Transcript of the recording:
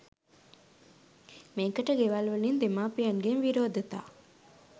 මේකට ගෙවල් වලින් දෙමාපියන්ගෙන් විරෝධතා